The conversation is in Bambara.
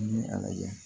N ye a lajɛ